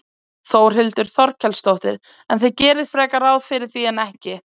Þórhildur Þorkelsdóttir: En þið gerið frekar ráð fyrir því en ekki?